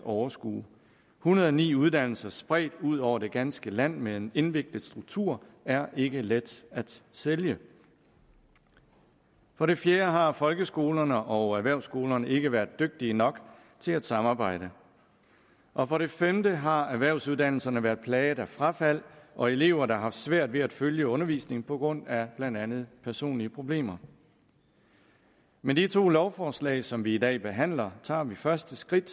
overskue en hundrede og ni uddannelser spredt ud over det ganske land med en indviklet struktur er ikke let at sælge for det fjerde har folkeskolerne og erhvervsskolerne ikke været dygtige nok til at samarbejde og for det femte har erhvervsuddannelserne været plaget af frafald og elever der har haft svært ved at følge undervisningen på grund af blandt andet personlige problemer med de to lovforslag som vi i dag behandler tager vi første skridt